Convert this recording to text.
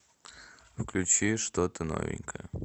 включи что то новенькое